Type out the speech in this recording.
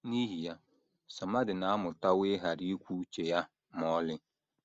N’ihi ya, Somadina amụtawo ịghara ikwu uche ya ma ọlị.